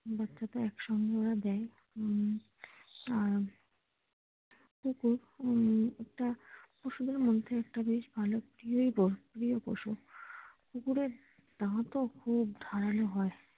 বাচ্চাটা একসঙ্গে ওরা দেয় উম আর কুকুর উম একটা খুব সুন্দর একটা বেশ গৃহ পশু কুকুরের দাঁত ও খুব ধারালো হয়।